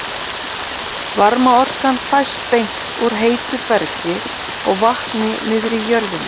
Varmaorkan fæst beint úr heitu bergi og vatni niðri í jörðinni.